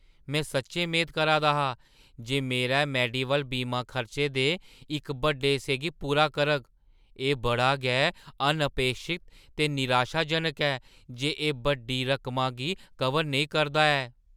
में सच्चैं मेद करा दा हा जे मेरा मेडीवैल्ल बीमा खर्चें दे इक बड्डे हिस्से गी पूरा करग। एह् बड़ा गै अनअपेक्षत ते निराशाजनक ऐ जे एह् बड्डी रकमा गी कवर नेईं करा दा ऐ।